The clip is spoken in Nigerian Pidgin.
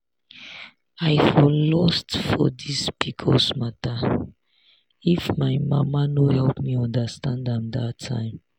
i for lost for this pcos matter if my mama no help me understand am that time.